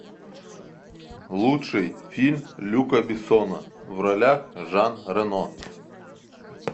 лучший фильм люка бессона в ролях жан рено